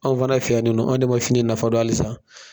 Anw fana fɛ yanninɔn anw de ma fini nafa dɔn halisa.